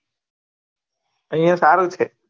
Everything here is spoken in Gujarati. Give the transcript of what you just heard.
અહિયા સારુ છે